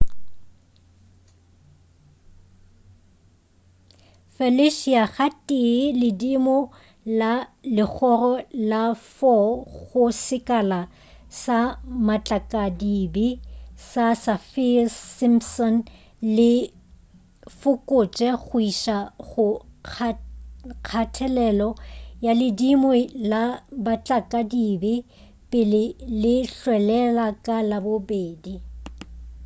felicia ga tee ledimo la legoro la 4 go sekala sa matlakadibe sa saffir-simpson le fokotše go iša go kgathelelo ya ledimo la matlakadibe pele le hwelela ka labobedi